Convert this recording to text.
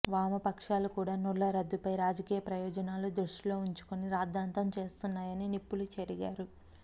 వామపక్షాలు కూడా నోట్ల రద్దుపై రాజకీయ ప్రయోజనాలు దృష్టిలో ఉంచుకొని రాద్ధాంతం చేస్తున్నాయని నిప్పులు చెరిగారు